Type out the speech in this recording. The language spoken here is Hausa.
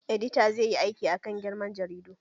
Edita zai yi aiki akan girma jaridu